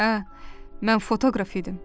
Hə, mən fotoqraf idim.